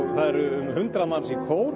hundrað manns í kór